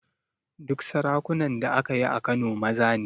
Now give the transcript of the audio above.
Duk sarakunan da aka yi a Kano maza ne